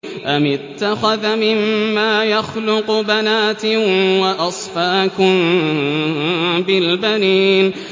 أَمِ اتَّخَذَ مِمَّا يَخْلُقُ بَنَاتٍ وَأَصْفَاكُم بِالْبَنِينَ